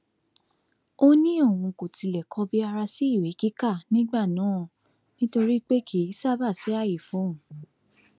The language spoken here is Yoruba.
ó ní òun kò tilẹ kọbi ara sí ìwé kíkà nígbà náà nítorí pé kì í ṣáàbà sí ààyè fóun